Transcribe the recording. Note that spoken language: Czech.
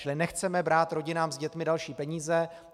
Čili nechceme brát rodinám s dětmi další peníze.